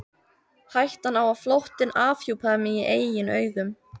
Hættan á að flóttinn afhjúpaði mig í eigin augum.